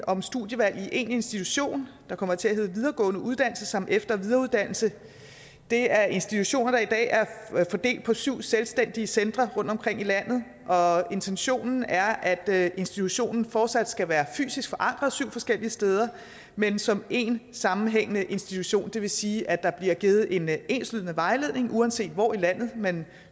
om studievalg i én institution der kommer til at hedde videregående uddannelse samt efter og videreuddannelse det er institutioner der i dag er fordelt på syv selvstændige centre rundtomkring i landet og intentionen er at institutionen fortsat skal være fysisk forankret syv forskellige steder men som én sammenhængende institution det vil sige at der bliver givet en enslydende vejledning uanset hvor i landet man